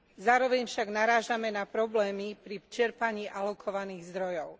Zároveň však narážame na problémy pri čerpaní alokovaných zdrojov.